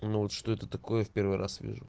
ну вот что это такое в первый раз вижу